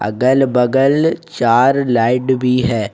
अगल बगल चार लाइट भी है।